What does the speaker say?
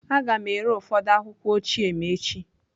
Aga m ere ụfọdụ akwụkwọ ochie m echi.